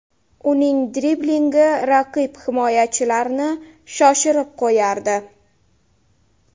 Uning driblingi raqib himoyachilarini shoshirib qo‘yardi.